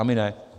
A my ne.